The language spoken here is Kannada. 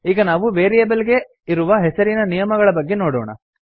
ಈಗ ನಾವು ವೇರಿಯೇಬಲ್ ಗೆ ಇರುವ ಹೆಸರಿನ ನಿಯಮಗಳ ಬಗ್ಗೆ ನೋಡೋಣ